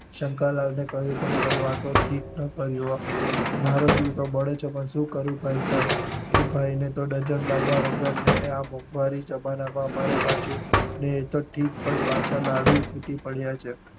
શંકર લાલ ને કહ્યું પણ ખરું આ તો ઠીક ન કર્યું હો મારો જીવ તો બળે છે પણ શું કરું ભાઈ સાહેબ. એ ભાઈ ને તો ડઝન લાડવા વગર ને આ મોંઘવારી જમાના માં અમારે પાછું ને એ તો ઠીક પાછા લાડુય ખૂટી પડ્યા છે.